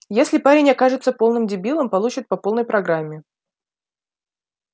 если парень окажется полным дебилом получит по полной программе